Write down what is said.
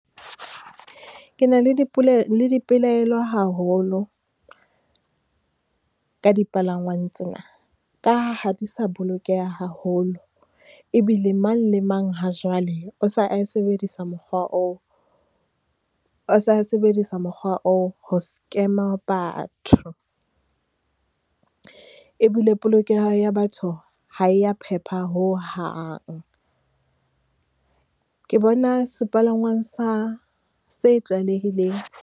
Ke na le le dipelaelo haholo ka dipalangwang tsena, ka ha ha di sa bolokeha haholo. Ebile mang le mang ha jwale, o se a sebedisa mokgwa oo, o se a sebedisa mokgwa oo ho scam-a batho. Ebile polokeho ya batho ha e ya phepha hohang. Ke bona sepalangwang sa, se tlwaelehileng.